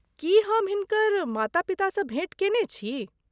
की हम हिनकर माता पितासँ भेँट कयने छी?